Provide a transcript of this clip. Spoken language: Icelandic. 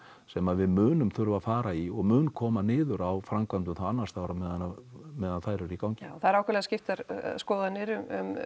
sem við munum þurfa að fara í og mun koma niður á framkvæmdum annars staðar meðan meðan þær eru í gangi það eru ákaflega skiptar skoðanir um